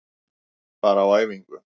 Bara á æfingu.